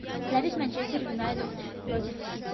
запись манчестер юнайтед против сити